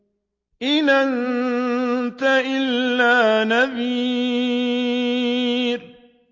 إِنْ أَنتَ إِلَّا نَذِيرٌ